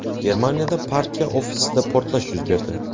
Germaniyada partiya ofisida portlash yuz berdi.